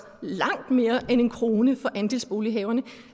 langt mere end en krone for andelsbolighaverne